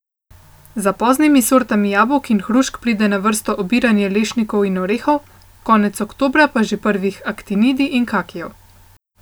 Za poznimi sortami jabolk in hrušk pride na vrsto obiranje lešnikov in orehov, konec oktobra pa že prvih aktinidij in kakijev.